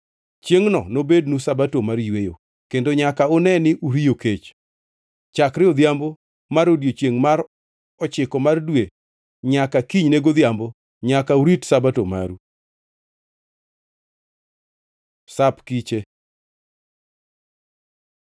Chiengʼno nobednu Sabato mar yweyo, kendo nyaka une ni uriyo kech. Chakre odhiambo mar odiechiengʼ mar ochiko mar dwe nyaka kinyne godhiambo, nyaka urit Sabato maru.” Sap Kiche